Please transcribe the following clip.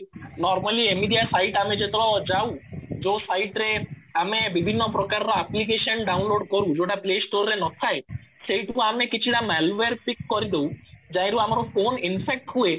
normally ଏମିତିଆ site ଆମେ ଯେତେବେଳ ଯାଉ ଯୋଉ site ରେ ଆମେ ବିଭିନ୍ନ ପ୍ରକାର application download କରୁ ଯୋଉଟା play store ରେ ନଥାଏ ସେଇଟା କୁ ଆମେ କିଛି ଟା malware pick କରିଦେଉ ଆମର ଫୋନ infect ହୁଏ